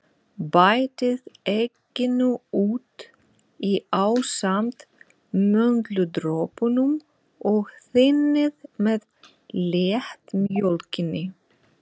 Bætið egginu út í ásamt möndludropunum og þynnið með léttmjólkinni.